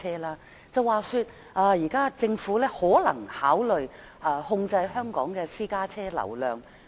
聽聞現時政府可能考慮控制香港的私家車流量。